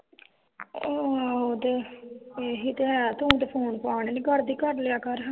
ਆਹੋ ਇਹੀ ਤੇ ਹੈ ਤੂੰ ਤੇ ਫੋਨ-ਫਾਨ ਨੀ ਕਰਦੀ ਕਰ ਲਿਆ ਹਾਂ